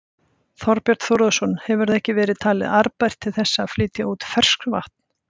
Þorbjörn Þórðarson: Hefur það ekki verið talið arðbært til þess að flytja út ferskvatn?